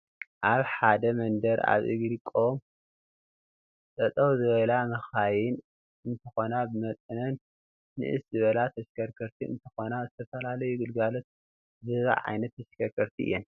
አብ ሐደ መንደር አብ እግሪ ቆም ጠጠው ዝበላ መካይን እንትኾና ብመጠነን ንእስ ዝበላ ተሽከርከርቲ እንትኾና ዝተፈላለዩ ግልጋሎት ዝህባ ዓይነት ተሽከርከርቲ እየን።